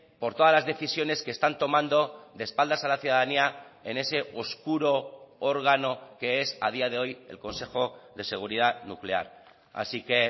por todas las decisiones que están tomando de espaldas a la ciudadanía en ese oscuro órgano que es a día de hoy el consejo de seguridad nuclear así que